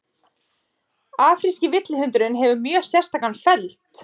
afríski villihundurinn hefur mjög sérstakan feld